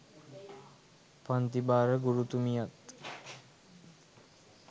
පන්තිභාර ගුරුතුමියත්